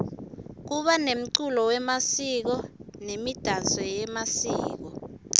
kuba nemculo yemasiko nemidanso yemasiko